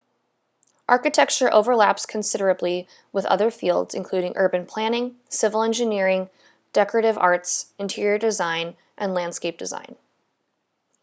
architecture overlaps considerably with other fields including urban planning civil engineering decorative arts interior design and landscape design